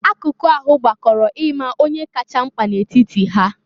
Akụkụ ahụ gbakọrọ ima onye kacha mkpa na etiti ha.